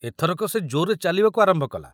ଏଥରକ ସେ ଜୋରରେ ଚାଲିବାକୁ ଆରମ୍ଭ କଲା